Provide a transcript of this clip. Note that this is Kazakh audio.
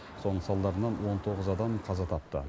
соның салдарынан он тоғыз адам қаза тапты